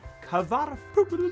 hvarf